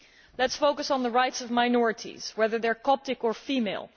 Let us focus on the rights of minorities, whether they are Coptic or female.